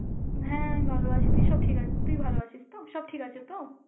হ্যাঁ ভালো আছে, তুই সব ঠিক আছে, তুই ভালো আছিস তো? সব ঠিক আছে তো?